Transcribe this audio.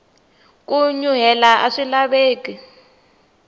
ku nyuhela aswi laveki